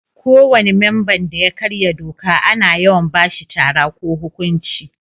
Ko wani memban da ya karya doka ana yawan ba shi tara ko huƙunci.